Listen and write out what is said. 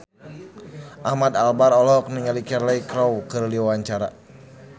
Ahmad Albar olohok ningali Cheryl Crow keur diwawancara